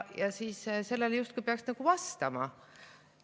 Ja sellele justkui peaks vastama.